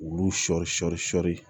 Olu sɔ sɔ sɔɔni